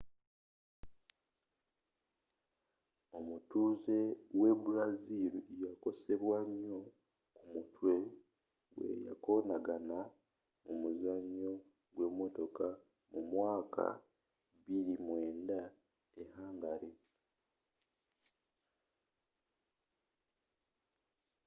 omutuzze we brazil yakosebwa nyo ku mutwe weyakonagana mu muzanyo gwe motoka mu mwaka 2009 e hungary